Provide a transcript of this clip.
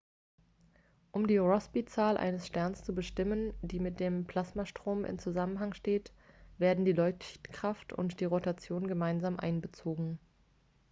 um die rossby-zahl eines sterns zu bestimmen die mit dem plasmastrom in zusammenhang steht werden die leuchtkraft und die rotation gemeinsam einbezogen